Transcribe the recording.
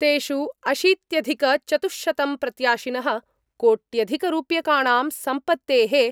तेषु अशीत्यधिक चतुः शतं प्रत्याशिनः कोट्यधिकरूप्यकाणां सम्पत्तेः